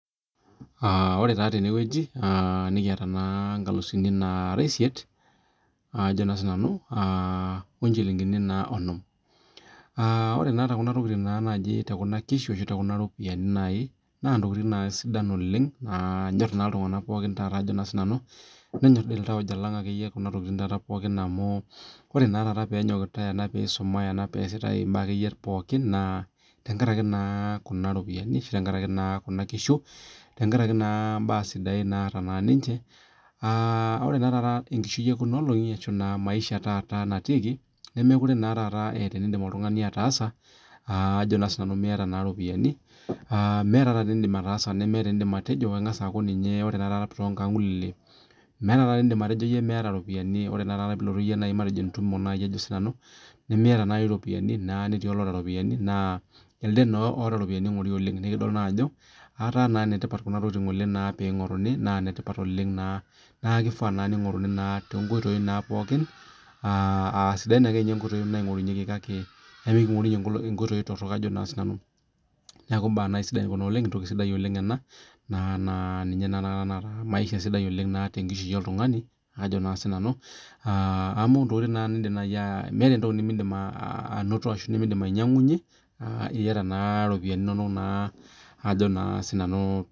Ore tenewueji nikiata nkalisini nara esiet oo njilingini[onom ore tekuna ropiani naa ntokitin sidain nanyor iltung'ana pookin nenyor doi iltauja lang pokin amu ore peasi Kuna mbaa pookin naa tenkaraki iropiani tenkaraki naa Kuna kishu tenkaraki naa mbaa sidain naata ninje ore naa taata maisha etaata natiki nemekuree etaa enidim oltung'ani ataasa mee ropiani meeta enidim ataasa nemeeta enidim atejo ore taata too nkaulele meeta enidim atejo miata ropiani ore pilotu entumote miata ropiani netii olataa ropiani naa else otaa ropiani eingorie oleng nidol Ajo etaa enetipat Kuna tokitin pee eingoruni naa enetipat oleng neeku kifaa pee eingoruni too nkoitoi pookin aasidain nkoitoi nikingorunye neeku mbaa sidain Kuna oleng mbaa naa ninye maisha sidai tee nkishui oltung'ani Ajo sinanu amu meeta entokii nimidim anoto ashu ainyiang'unyie etaata naa ropiani eno Ajo na sinanu